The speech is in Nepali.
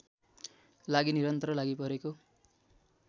लागि निरन्तर लागिपरेको